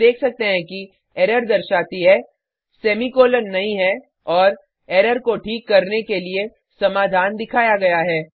हम देख सकते हैं कि एरर दर्शाती हैः सेमी कॉलन नहीं है और एरर को ठीक करने के लिए समाधान दिखाया गया है